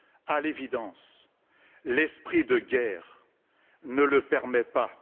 À l'évidence, l'esprit de guerre ne le permet pas.